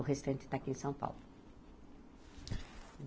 O restante está aqui em São Paulo.